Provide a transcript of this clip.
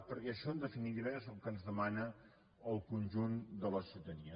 perquè això en definitiva és el que ens demana el conjunt de la ciutadania